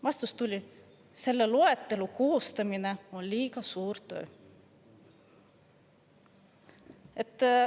Vastus oli: "Selle loetelu koostamine on liiga suur töö.